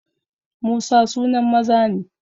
Musa sunan maza ne